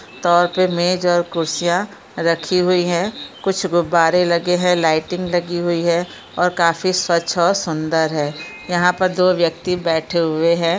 मेज और कुर्सियाँ रखी हुई हैं कुछ गुब्बारे लगे हैं लाइटिंग लगी हुई है और काफी स्वच्छ और सुंदर है यहाँ पर दो व्यक्ति बैठे हुए है।